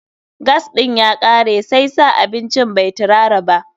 Gas ɗin ya kare, sai sa abincin bai tirara ba.